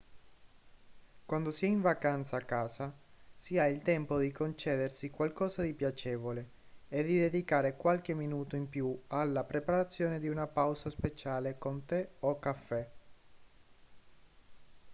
quando si è in vacanza a casa si ha il tempo di concedersi qualcosa di piacevole e di dedicare qualche minuto in più alla preparazione di una pausa speciale con tè o caffè